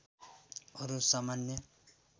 अरु सामान्य